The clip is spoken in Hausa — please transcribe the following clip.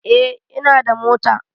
Eh ina da mota